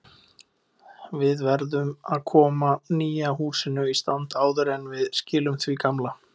Við verðum að koma nýja húsinu í stand áður en við skilum því gamla.